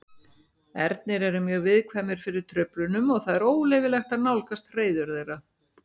Ernir eru mjög viðkvæmir fyrir truflunum og það er óleyfilegt að nálgast hreiður þeirra.